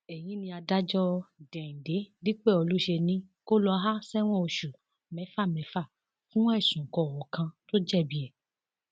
èyí ni adájọ déhìndé dípẹọlù ṣe ni kó lọá ṣẹwọn oṣù mẹfàmẹfà fún ẹsùn kọọkan tó jẹbi ẹ